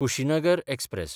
Kushinagar express